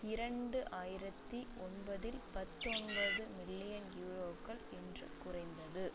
இரண்டு ஆயிரத்தி ஒன்பதில் பத்தொன்பது மில்லியன் யூரோக்கள் என்று குறைந்தது